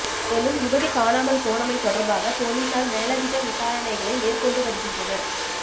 மேலும் யுவதி காணாமல் போனமை தொடர்பாக பொலிசார் மேலதிக விசாரணைகளை மேற்கொண்டுவருகின்றனர்